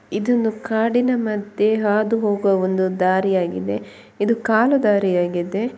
ಇದೊಂದು ಕಾಡಿನ ಮಧ್ಯೆ ಹಾದು ಹೋಗುವ ಒಂದು ದಾರಿಯಾಗಿದೆ ಇದು ಕಾಲು ದಾರಿಯಾಗಿದೆ .